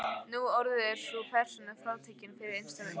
Nú orðið er sú persóna frátekin fyrir innsta hring.